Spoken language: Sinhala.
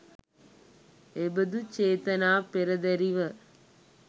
එබඳු චේතනා පෙරදැරිව